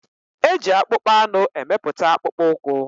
E ji akpụkpọanụ emepụta akpụkpọ ụkwụ.